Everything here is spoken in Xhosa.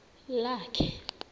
lakhe